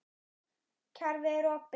Kerfið er opið.